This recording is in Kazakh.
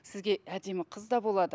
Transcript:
сізге әдемі қыз да болады